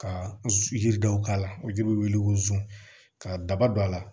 Ka yiri dɔw k'a la o ji bɛ wuli ko zon ka daba don a la